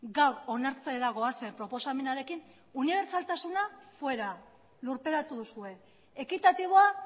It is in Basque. gaur onartzera goazen proposamenarekin unibertsaltasuna fuera lurperatu duzue ekitatiboa